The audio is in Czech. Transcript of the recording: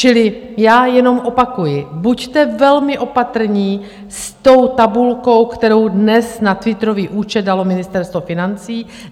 Čili já jenom opakuji, buďte velmi opatrní s tou tabulkou, kterou dnes na twitterový účet dalo Ministerstvo financí.